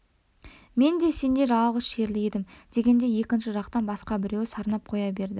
мен де сендей жалғыз шерлі едім дегендей екінші жақтан басқа біреуі сарнап қоя берді